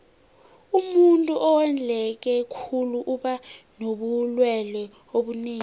umuntuu owondleke khulu uba nobulelwe obunengi